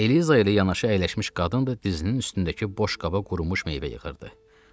Eliza ilə yanaşı əyləşmiş qadın da dizinin üstündəki boş qaba qurumuş meyvə yığırdı.